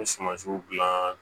N bɛ sumansiw gilan